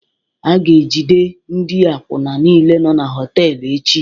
A ga-ejide ndị akwụna niile nọ na họtel echi